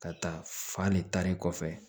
Ka taa fan ne taari kɔfɛ